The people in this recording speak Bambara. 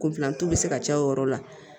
Kunfilantu bi se ka caya o yɔrɔ la